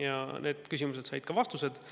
Kõik need küsimused said vastused.